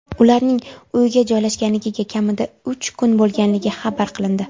Ularning uyga joylashganligiga kamida uch kun bo‘lganligi xabar qilindi.